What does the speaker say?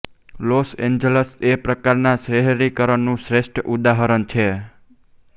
loss Angeles એ આ પ્રકારના શહેરીકરણનું શ્રેષ્ઠ ઉદાહરણ છે